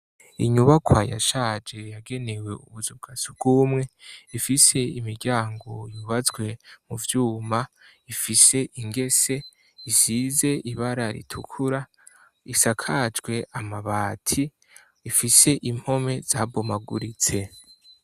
Inyubakwa yashaje yagenewe ubuzu bwa sugumwe, ifise imiryango yubatswe mu vyuma, ifise ingese, isize ibara ritukura isakajwe amabati ifise impome zabomaguritse.